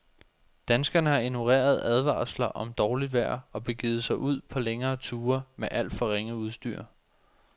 Danskerne har ignoreret advarsler om dårligt vejr og begivet sig ud på længere ture med alt for ringe udstyr.